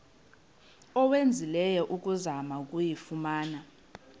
owenzileyo ukuzama ukuyifumana